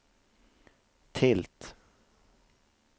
tilt